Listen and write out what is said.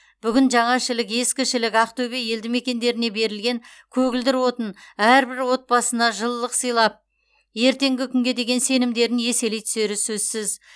бүгін жаңа шілік ескі шілік ақтөбе елді мекендеріне берілген көгілдір отын әрбір отбасына жылылық сыйлап ертеңгі күнге деген сенімдерін еселей түсері сөзсіз